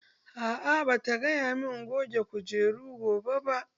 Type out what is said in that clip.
A'a bata gaya min in goge firijin gobe ba.